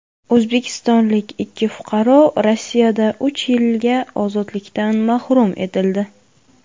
O‘zbekistonlik ikki fuqaro Rossiyada uch yilga ozodlikdan mahrum etildi.